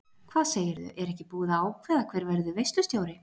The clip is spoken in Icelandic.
Hvað segirðu, er ekki búið að ákveða hver verður veislustjóri.